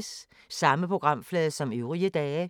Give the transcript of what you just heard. Samme programflade som øvrige dage